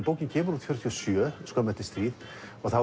bókin kemur út fjörutíu og sjö skömmu eftir stríð og þá